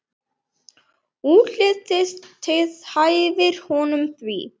Útlitið hæfir honum því.